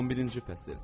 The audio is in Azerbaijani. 11-ci fəsil.